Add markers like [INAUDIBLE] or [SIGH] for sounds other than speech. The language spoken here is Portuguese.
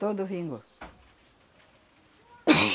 Todo vingou. [SNEEZES]